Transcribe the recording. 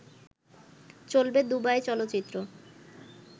চলবে দুবাই চলচ্চিত্র